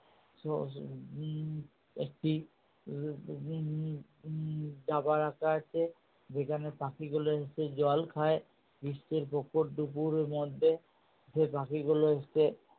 একটি ডাবা রাখা আছে যেখানে পাখিগুলো এসে জল খায় গ্রীষ্মের প্রখর দুপুরের মধ্যে সেই পাখি গুলো এসে